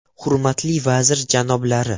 Hurmatli vazir janoblari!